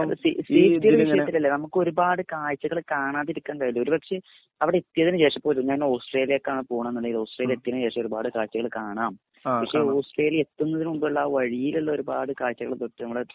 നമുക്ക് ഒരുപാട് കാഴ്ചകൾ കാണാതിരിക്കണ്ടല്ലേ ഒരുപക്ഷെ അവിടെ എത്തിയതിന് ശേഷം പോലും ഞാൻ ഓസ്‌ട്രേലിയ്ക്കാണ് പോണേനുണ്ടേല്മ് ഓസ്‌ട്രേല്യഎത്തീൻ ശേഷം ഒരുപാട് കാഴ്ച്ചകൾ കാണാം പക്ഷെ ഓസ്‌ട്രേലിയ എത്തുന്നതിന് മുമ്പുള്ള വഴിയിലുള്ള ഒരുപാട് കാഴ്ചകൾ പറ്റി നമ്മടെ